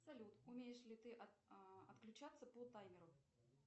салют умеешь ли ты отключаться по таймеру